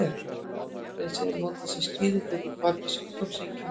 Þetta nafn er síðan notað sem skýring á því hvað olli sjúkdómseinkennunum.